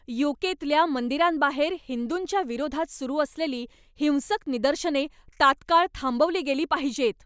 यू.के.तल्या मंदिरांबाहेर हिंदूंच्या विरोधात सुरू असलेली हिंसक निदर्शने तात्काळ थांबवली गेली पाहिजेत.